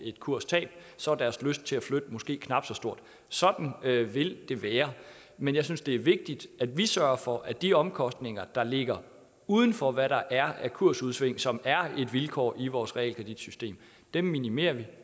et kurstab så deres lyst til at flytte måske er knap så stor sådan vil det være men jeg synes det er vigtigt at vi sørger for at de omkostninger der ligger uden for hvad der er af kursudsving som er et vilkår i vores realkreditsystem bliver minimeret